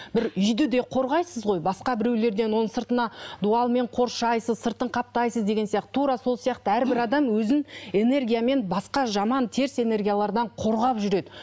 бір үйді де қорғайсыз ғой басқа біреулерден оны сыртына дуалмен қоршайсыз сыртын қаптайсыз деген сияқты тура сол сияқты әрбір адам өзін энергиямен басқа жаман теріс энергиялардан қорғап жүреді